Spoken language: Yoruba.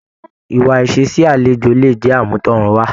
Ìwà ìṣe sí àlejò lè jẹ àmútọrunwa.